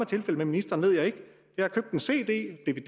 tilfældet med ministeren ved jeg ikke jeg har købt en cd en